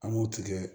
An b'o tigɛ